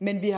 men vi har